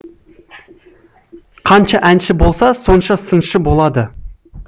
қанша әнші болса сонша сыншы болады